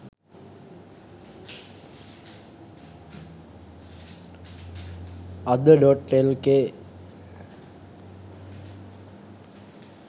ada.lk